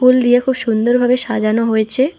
ফুল দিয়ে খুব সুন্দর ভাবে সাজানো হয়েছে।